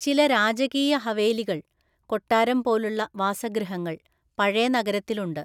ചില രാജകീയ ഹവേലികൾ (കൊട്ടാരംപോലുള്ള വാസഗൃഹങ്ങൾ) പഴയ നഗരത്തിലുണ്ട്.